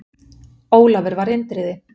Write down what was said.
Ólafur var Indriði.